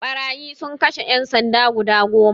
Ɓarayi sun kashe ƴan sanda guda goma